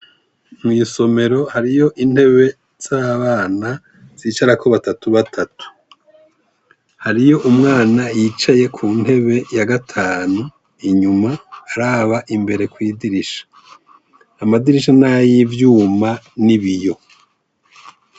Mw'isomero hariyo intebe z'abana zicarako batatu batatu, hariyo umwana yicaye ku ntebe ya gatanu inyuma araba imbere kw'idirisha, amadirisha n'ayivyuma ni biyo.